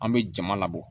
An bɛ jama labɔ